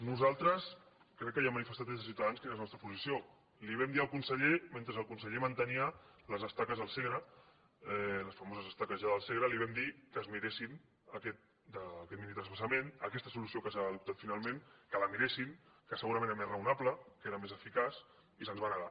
nosaltres crec que ja hem manifestat des de ciutadans quina és la nostra posició li ho vam dir al conse ller men tre el conseller mantenia les estaques al segre les famoses estaques ja del segre li vam dir que es miressin aquest minitransvasament aquesta solució que s’ha adoptat finalment que la miressin que segurament era més raonable que era més eficaç i se’ns va negar